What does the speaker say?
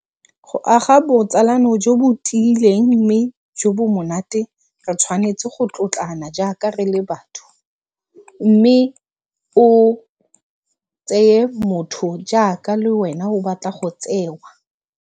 Go aga botsalano jo bo tiileng mme jo bo monate re tshwanetse go tlotlana jaaka re le batho, mme o tseye motho jaaka le wena o batla go tsewa.